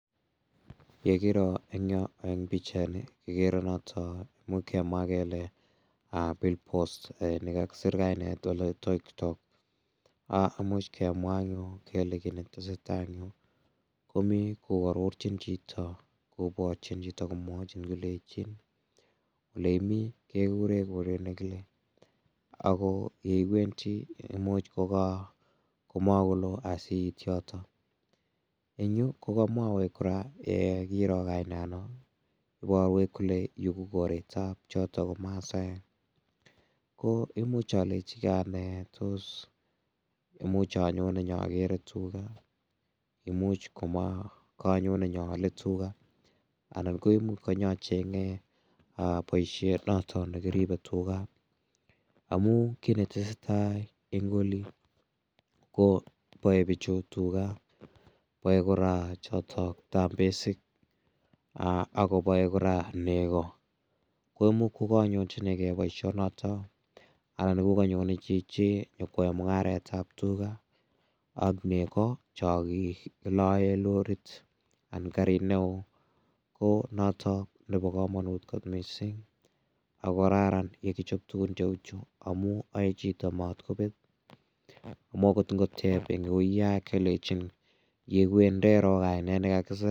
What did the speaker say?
Yekiro eng' yo eng' pichaini kikere noto muuch kemwa kele bill post nekakipir kainet oloitoktok muuch kemwa anyun kele kii netesei tai eng' yu ko mi koarorchin chito koborchin chito komwochin kolechin ole imi kekure koret nekile ako ye iwendi komuuch komakoloo asiit yoto eng' yu ko kokamwowech kora kiro kainano iborwech kole yu ko koretab choto ko masaek ko imuuch alechgei ane tos imuch anyone nyakere tuga imuuch kanyone nyoole tuga anan ko imuuch kanyacheng'e boishet noto nekiribei tuga amu kii netesei ing' oli ko boei bichu tuga boei kora chotok tambesik akoboei kora nego koimuch kokanyonjinigei boishonoto anan kokanyonei chichi nyikwoei mung'aretab tuga ak nego cho kiloe lorit anan karit ne oo ko noto nebo komonut kot mising' ako kararan yekichop tugun cheu chu amu aoei chito matkobet amun akot ngotep eng' uiya kelejin yeiwe ndero kainet nekakiser